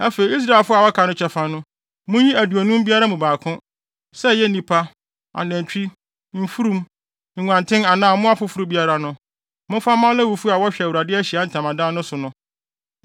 Afei Israelfo a wɔaka no kyɛfa no, munyi aduonum biara mu baako; sɛ ɛyɛ nnipa, anantwi, mfurum, nguanten anaa mmoa foforo biara no, momfa mma Lewifo a wɔhwɛ Awurade Ahyiae Ntamadan no so no.”